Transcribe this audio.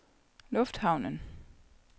lufthavnen